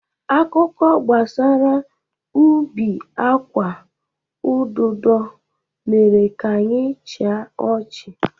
Akụkọ gbasara ubi agwa ududo mere ka anyị chịa ọchị